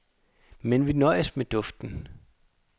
Men vi nøjes med duften.